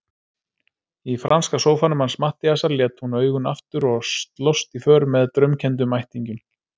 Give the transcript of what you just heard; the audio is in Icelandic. Í franska sófanum hans Matthíasar lét hún augun aftur og slóst í för með draumkenndum ættingjum.